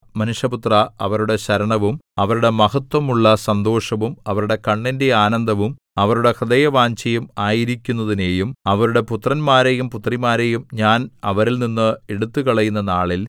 മനുഷ്യപുത്രാ അവരുടെ ശരണവും അവരുടെ മഹത്ത്വമുള്ള സന്തോഷവും അവരുടെ കണ്ണിന്റെ ആനന്ദവും അവരുടെ ഹൃദയവാഞ്ഛയും ആയിരിക്കുന്നതിനെയും അവരുടെ പുത്രന്മാരെയും പുത്രിമാരെയും ഞാൻ അവരിൽനിന്ന് എടുത്തുകളയുന്ന നാളിൽ